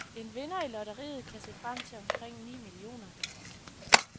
En vinder i lotteriet kan se frem til omkring ni millioner.